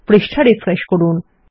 পৃষ্ঠা রিফ্রেশ করুন